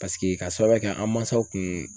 Paseke k'a sababuya kɛ an mansaw kun